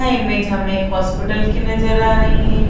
Image हमें एक hospital की नजर आ रही हें।